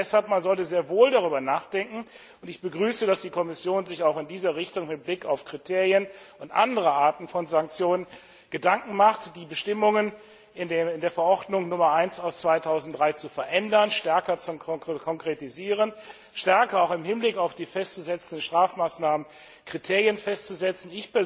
Ich meine deshalb, man sollte sehr wohl darüber nachdenken, und ich begrüße, dass die Kommission sich auch in diese Richtung mit Blick auf Kriterien und andere Arten von Sanktionen Gedanken macht, die Bestimmungen in der Verordnung Nummer 1 aus dem Jahr 2003 zu verändern, stärker zu konkretisieren und stärker auch im Hinblick auf die festzusetzenden Strafmaßnahmen Kriterien festzusetzen.